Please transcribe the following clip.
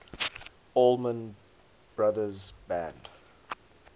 allman brothers band